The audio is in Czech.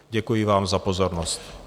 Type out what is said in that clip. Děkuji vám za pozornost.